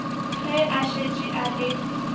ge a šetše a le